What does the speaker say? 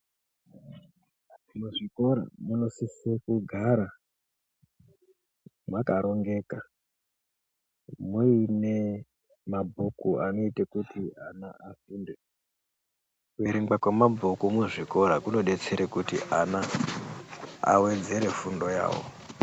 Muzvikora munosise kugara mwakarongeka muine mabhuku anoite kuti ana afunde .Kuverenga kwemabhuku muzvikora kunoite kuti ana awedzere fundo yawo.